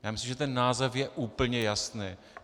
Já myslím, že ten název je úplně jasný.